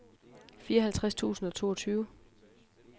fireoghalvtreds tusind og toogtyve